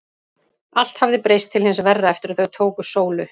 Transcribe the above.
Allt hafði breyst til hins verra eftir að þau tóku Sólu.